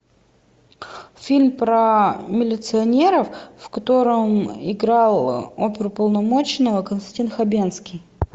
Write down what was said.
фильм про милиционеров в котором играл оперуполномоченного константин хабенский